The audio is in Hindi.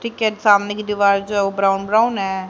ठीक है सामने की दीवार जो है वो ब्राउन ब्राउन है।